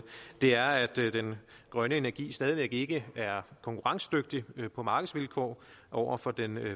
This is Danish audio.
er sådan at den grønne energi stadigvæk ikke er konkurrencedygtig på markedsvilkår over for den